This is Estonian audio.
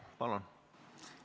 Palun!